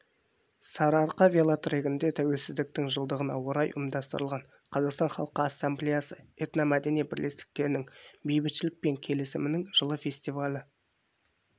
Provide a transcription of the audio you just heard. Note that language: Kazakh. сарыарқа велотрегінде тәуелсіздіктің жылдығына орай ұйымдастырылған қазақстан халқы ассамблеясы этномәдени бірлестіктерінің бейбітшілік пен келісімнің жылы фестивалі